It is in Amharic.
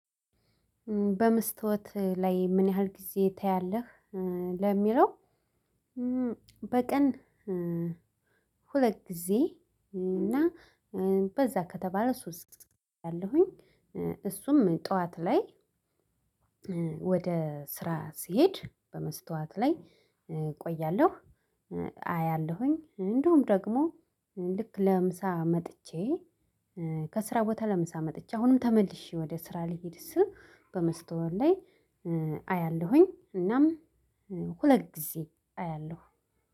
በመስታወት ላይ ምን ያህል ጊዜ ታያለህ? ለሚለው በቀን ሁለት ጊዜ እና በዛ ከተባለ ሶስት አያለሁኝ እሱም ጠዋት ላይ። ወደ ስራ ስሄድ በመስታወት ላይ እቆያለሁ። አያለሁኝ እንዲሁም ደግሞ ልክ ለምሳ መጥቼ ከስራ ቦታ ለምሳ መጥቼ አሁንም ተመልሼ ወደ ስራ ልሂድ ስም በመስታወት ላይ አያለሁኝ እናም ሁለት ጊዜ አያለሁ።